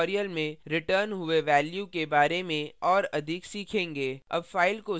हम अन्य ट्यूटोरियल में रिटर्न हुए वेल्यू के बारे में और अधिक सीखेंगे